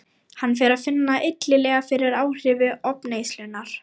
Hann fer að finna illilega fyrir áhrifum ofneyslunnar.